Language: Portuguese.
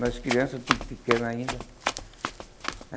Nós crianças, tudo pequeno ainda.